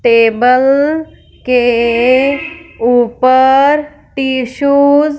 table के ऊपर tissues --